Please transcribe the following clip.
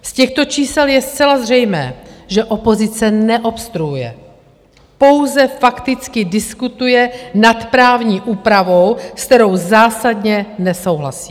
Z těchto čísel je zcela zřejmé, že opozice neobstruuje, pouze fakticky diskutuje nad právní úpravou, s kterou zásadně nesouhlasí.